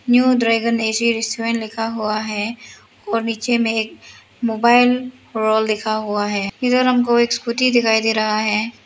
New dragon A C restaurant लिखा हुआ है और नीचे में एक मोबाइल वर्ल्ड लिखा हुआ है इधर हमको एक स्कूटी दिखाई दे रहा है।